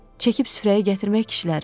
Çəkib süfrəyə gətirmək kişilərin.